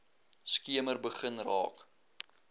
skemer begin raak